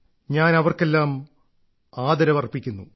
ഞാൻ അവർക്കെല്ലാം ആദരവർപ്പിക്കുന്നു